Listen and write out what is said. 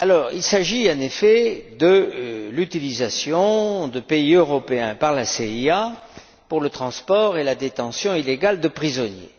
Il s'agit de l'utilisation de pays européens par la CIA pour le transport et la détention illégale de prisonniers.